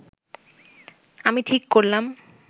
আমি ঠিক করলাম